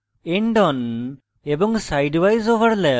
endon এবং sidewise overlaps